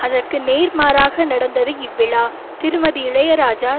அதற்கு நேர்மாறாக நடந்தது இவ்விழா திருமதி இளையராஜா